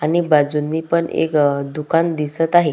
आणि बाजुनी पण एक दुकान दिसत आहे.